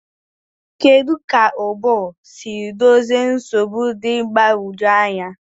Kedu ka ụbụrụ si dozie nsogbu dị mgbagwoju anya?